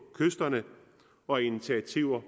kysterne og initiativer